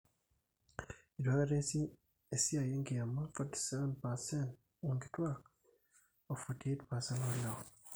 ilituaaikata ees esiai enkiama 47% oonkituuak o 48% oolewa